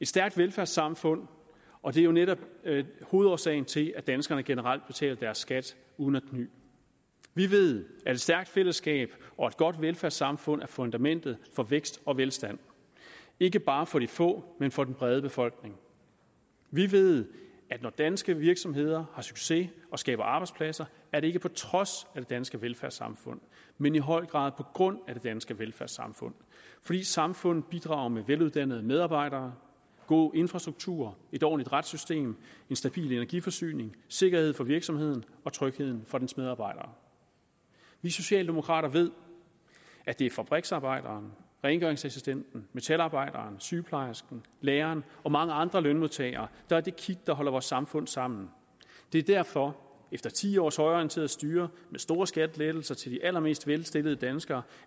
stærkt velfærdssamfund og det er jo netop hovedårsagen til at danskerne generelt betaler deres skat uden at kny vi ved at et stærkt fællesskab og et godt velfærdssamfund er fundamentet for vækst og velstand ikke bare for de få men for den brede befolkning vi ved at når danske virksomheder har succes og skaber arbejdspladser er det ikke på trods af det danske velfærdssamfund men i høj grad på grund af det danske velfærdssamfund fordi samfundet bidrager med veluddannede medarbejdere god infrastruktur et ordentligt retssystem en stabil energiforsyning sikkerhed for virksomheden og tryghed for dens medarbejdere vi socialdemokrater ved at det er fabriksarbejderen rengøringsassistenten metalarbejderen sygeplejersken læreren og mange andre lønmodtagere der er det kit der holder vores samfund sammen det er derfor at efter ti års højreorienteret styre med store skattelettelser til de allermest velstillede danskere